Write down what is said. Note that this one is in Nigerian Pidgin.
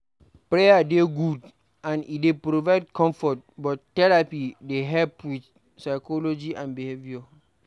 Prayer dey good and e dey provide comfort but therapy dey help with psychology and behaviour